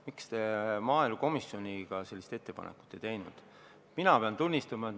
Miks maaelukomisjon sellist ettepanekut ei ole teinud?